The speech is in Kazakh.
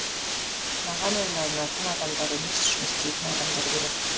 маған ойланатын адамдар емес жұмыс істейтін адамдар керек